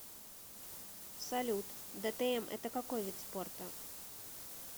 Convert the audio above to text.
салют дтм это какой вид спорта